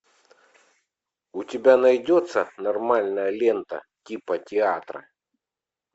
у тебя найдется нормальная лента типа театра